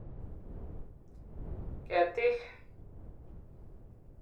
ketiik.